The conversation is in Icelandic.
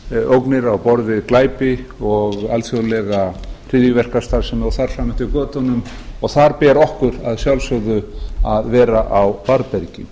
ógnir á borð við glæpi og alþjóðlega hryðjuverkastarfsemi og þar fram eftir götunum og þar ber okkur að sjálfsögðu að vera á varðbergi